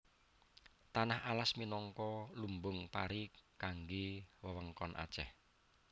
Tanah Alas minangka lumbung pari kanggé wewengkon Aceh